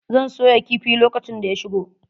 Zan soya kifi lokacin da ya shigo.